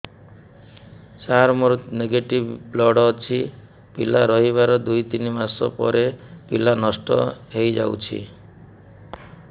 ସାର ମୋର negative blood ଅଛି ପିଲା ରହିବାର ଦୁଇ ତିନି ମାସ ପରେ ପିଲା ନଷ୍ଟ ହେଇ ଯାଉଛି